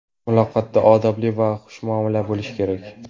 Muloqotda odobli va xushmuomala bo‘lish kerak.